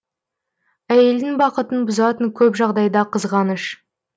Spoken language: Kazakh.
әйелдің бақытын бұзатын көп жағдайда қызғаныш